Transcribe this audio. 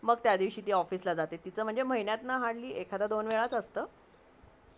त्या दिवशी ती ऑफिस ला जाते म्हणजे महिन्यातली hardly एखादा दोन वेळीच असते